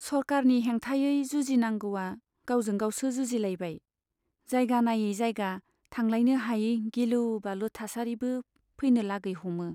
सरकारनि हेंथायै जुजिनांगौवा गावजों गावसो जुजिलायबाय, जायगा नायै जायगा थांलायनो हायै गिलु बालु थासारिबो फैनो लागै हमो।